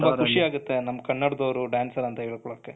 ತುಂಬಾ ಖುಷಿ ಆಗುತ್ತೆ ನಮ್ಮ ಕನ್ನಡದವರು dancer ಅಂತ ಹೇಳ್ಕೊಳಕ್ಕೆ,